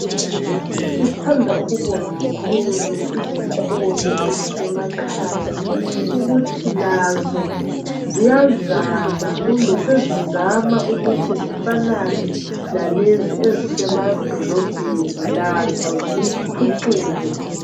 Sithanda ukubonga kakhulu izikolo ezisemakhaya ukuthi lazo ziyazama kumbe sezizama ukuthi zifanane lalezo ezisemadolobheni ukuthi lazo ziphucuke.